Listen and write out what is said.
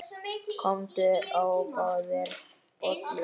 Komdu og fáðu þér bollur.